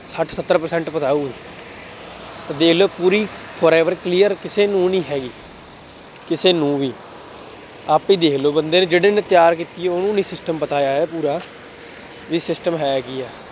ਹਾਂ ਸੱਤਰ percent ਪਤਾ ਹੋਊਗਾ। ਦੇਖ ਲਉ ਪੂਰੀ forever clear ਕਿਸੇ ਨੂੰ ਨਹੀਂ ਹੈਗੀ, ਕਿਸੇ ਨੂੰ ਵੀ, ਆਪੇ ਦੇਖ ਲਉ ਬੰਦੇ ਨੇ ਜਿਹੜੇ ਨੇ ਤਿਆਰ ਕੀਤੀ, ਉਹਨੂੰ ਨਹੀਂ system ਪਤਾ ਹੈ ਪੂਰਾ, ਬਈ system ਹੈ ਕੀ,